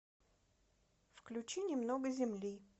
включи немного земли